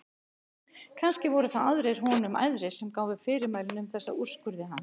Kannski voru það aðrir honum æðri sem gáfu fyrirmælin um þessa úrskurði hans.